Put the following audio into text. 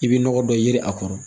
I bɛ nɔgɔ dɔ yiri a kɔrɔ